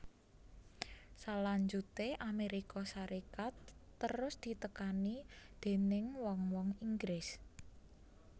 Salanjuté Amérika Sarékat terus ditekani déning wong wong Inggris